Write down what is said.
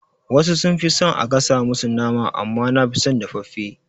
Wasu sun fi son a gasa musu nama amma nafi son dafaffe.